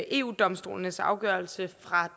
eu domstolens afgørelse